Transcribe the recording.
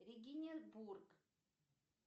региненбург